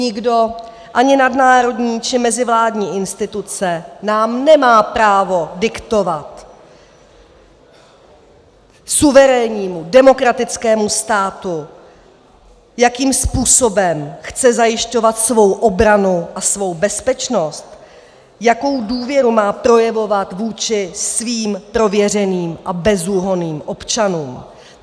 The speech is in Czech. Nikdo, ani nadnárodní či mezivládní instituce, nám nemá právo diktovat, suverénnímu demokratickému státu, jakým způsobem chce zajišťovat svou obranu a svou bezpečnost, jakou důvěru má projevovat vůči svým prověřeným a bezúhonným občanům.